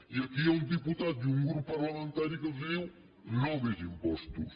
i aquí hi ha un diputat i un grup parlamentari que els diu no més impostos